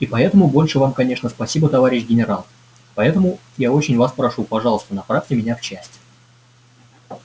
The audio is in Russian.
и поэтому больше вам конечно спасибо товарищ генерал поэтому я очень вас прошу пожалуйста направьте меня в часть